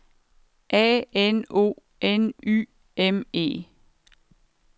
A N O N Y M E